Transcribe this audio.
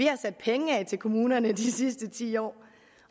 har sat penge af til kommunerne de sidste ti år